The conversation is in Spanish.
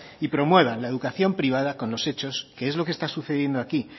y promuevan la educación privada con los hechos que es lo que está sucediendo aquí